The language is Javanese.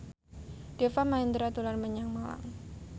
Deva Mahendra dolan menyang Malang